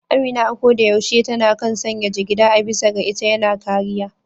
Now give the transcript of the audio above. Amina a ko da yaushe ta kan sanya jigida, a bisa ga ita yana kariya.